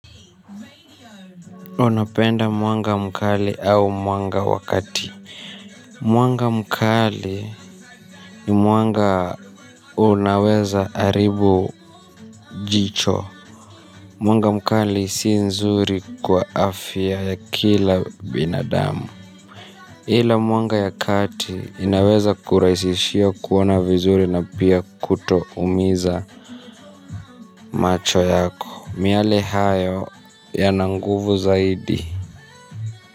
Unapenda mwanga mkali au mwanga wakati. Mwanga mkali ni mwanga unaweza haribu jicho. Mwanga mkali si nzuri kwa afya ya kila binadamu. Hila muanga ya kati inaweza kuraisishia kuona vizuri na pia kutoumiza macho yake miale hayo yana nguvu zaidi.